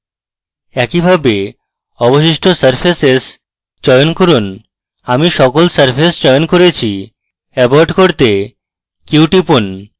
একইভাবে অবশিষ্ট surfaces চয়ন করুন আমি সকল surfaces চয়ন করেছি abort করতে q টিপুন